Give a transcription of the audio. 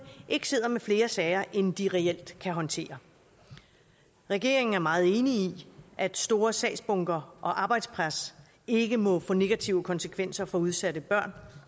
ikke sidder med flere sager end de reelt kan håndtere regeringen er meget enig i at store sagsbunker og arbejdspres ikke må få negative konsekvenser for udsatte børn